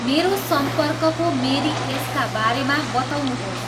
मेरो सम्पर्कको मेरी एस.का बारेमा बताउनुहोस्